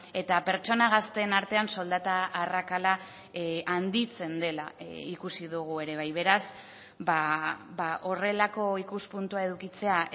eta pertsona gazteen artean soldata arrakala handitzen dela ikusi dugu ere bai beraz horrelako ikuspuntua edukitzea